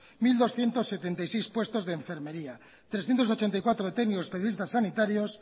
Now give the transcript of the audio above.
mil doscientos setenta y seis puestos de enfermería trescientos ochenta y cuatro de técnicos